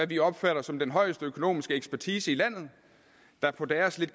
vi opfatter som den højeste økonomiske ekspertise i landet der på deres lidt